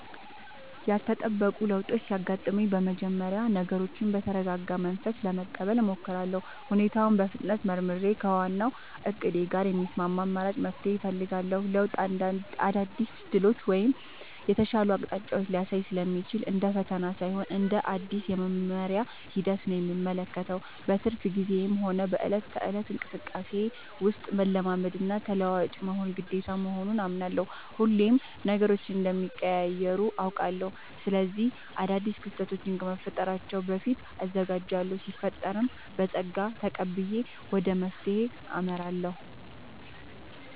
ያልተጠበቁ ለውጦች ሲያጋጥሙኝ በመጀመሪያ ነገሮችን በተረጋጋ መንፈስ ለመቀበል እሞክራለሁ። ሁኔታውን በፍጥነት መርምሬ፣ ከዋናው እቅዴ ጋር የሚስማማ አማራጭ መፍትሄ እፈልጋለሁ። ለውጥ አዳዲስ ዕድሎችን ወይም የተሻሉ አቅጣጫዎችን ሊያሳይ ስለሚችል፣ እንደ ፈተና ሳይሆን እንደ አዲስ የመማሪያ ሂደት ነው የምመለከተው። በትርፍ ጊዜዬም ሆነ በዕለት ተዕለት እንቅስቃሴዬ ውስጥ፣ መላመድና ተለዋዋጭ መሆን ግዴታ መሆኑን አምናለሁ። ሁሌም ነገሮች እንደሚቀያየሩ አውቃለሁ። ስለዚህ አዳዲስ ክስተቶች ከመፈጠራቸው በፊት እዘጋጃለሁ ሲፈጠርም በፀጋ ተቀብዬ ወደ መፍትሄው አመራለሁ።